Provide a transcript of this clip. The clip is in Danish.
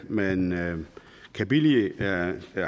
man kan billige